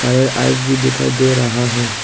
Ice भी दिखाई दे रहा है।